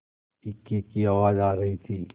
इक्के की आवाज आ रही थी